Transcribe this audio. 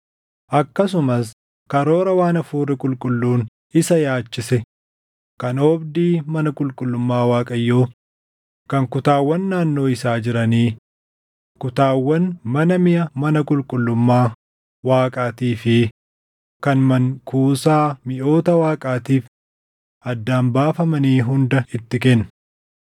Akkasumas karoora waan Hafuurri qulqulluun isa yaachisee kan oobdii mana qulqullummaa Waaqayyoo, kan kutaawwan naannoo isaa jiranii, kutaawwan mana miʼa mana qulqullummaa Waaqaatii fi kan mankuusaa miʼoota Waaqaatiif addaan baafamanii hunda itti kenne.